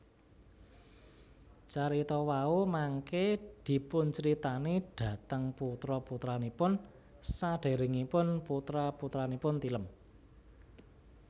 Carita wau mangké dipuncritani dhateng putra putranipun sadèrèngipun putra putranipun tilem